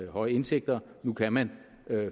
høj indtægt nu kan man